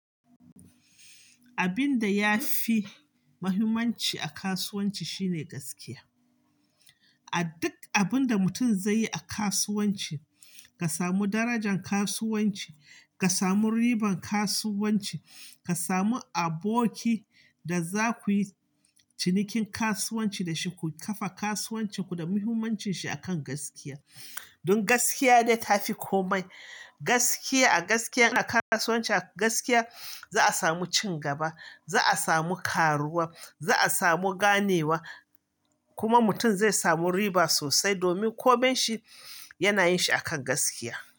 Abin da ya fi muhimmanci a kasuwanci shine gaskiya. A duk abin da mutum zai yi a kasuwanci, ka samu darajan kasuwanci, ka samu ribar kasuwanci, ka samu aboki da za ku yi cinikin kasuwanci da shi, ku kafa kasuwancin ku da muhimmancin shi akan gaskiya. Don gaskiya ne ta fi komai. Gaskiya a gaskiya a kasuwanci, a gaskiya za a samu cin gaba, za a samu karuwa, za a samu ganewa kuma mutum zai samu riba sosai domin komai shi yana yin shi akan gaskiya.